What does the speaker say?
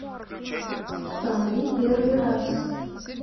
установи первый раз